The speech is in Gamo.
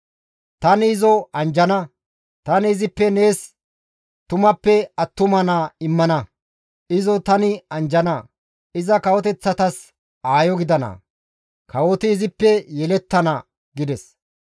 Tani izo anjjana; tani izippe nees tumappe attuma naa immana; izo tani anjjana; iza kawoteththatas aayo gidana; kawoti izippe yelettana» gides.